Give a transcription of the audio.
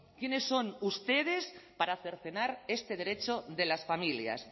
quiénes son ustedes para cercenar este derecho de las familias